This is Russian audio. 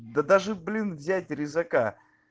да даже блин взять резака